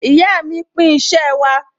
Ìyá mi pín iṣẹ́ wa